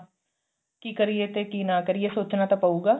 ਕੀ ਕਰੀਏ ਤੇ ਕੀ ਨਾ ਕਰੀਏ ਸੋਚਣਾ ਤਾਂ ਪਉਗਾ